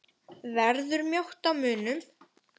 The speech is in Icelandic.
Verður mjótt á munum?